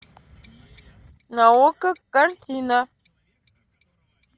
на окко картина